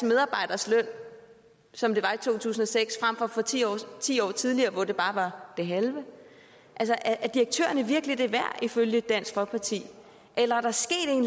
medarbejderes løn som det var i to tusind og seks frem for ti år ti år tidligere hvor det bare var det halve er direktørerne virkelig det værd ifølge dansk folkeparti eller